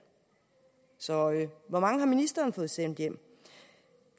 så hvor mange har ministeren fået sendt hjem